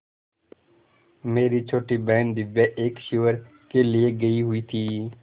मेरी छोटी बहन दिव्या एक शिविर के लिए गयी हुई थी